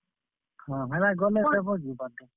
ହଁ ହେଟା ଗଲେ ଦେବ ଯେ ବାଟେ।